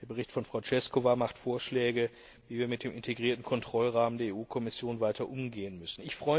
Der Bericht von Frau Češková macht Vorschläge, wie wir mit dem integrierten Kontrollrahmen der EU Kommission weiter umgehen müssen.